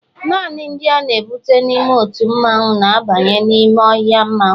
naanị ndị a na-ebute n'ime otu mmanwu, na-abanye n'ime ọhịa mmanwu